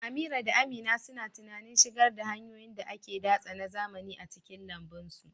Amira da Amina suna tunanin shigar da hanyoyin da ake datse na zamani a cikin lambun su.